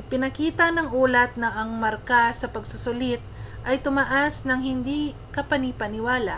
ipinakita ng ulat na ang marka sa pagsusulit ay tumaas nang hindi kapani-paniwala